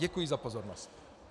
Děkuji za pozornost.